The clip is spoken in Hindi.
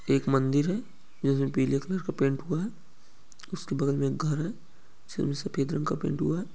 एक मंदिर है जिसमे पीले कलर का पेंट हूआ है उसके बगल मे एक घर है जिसमे सफेद रंग का पैंट हूआ है।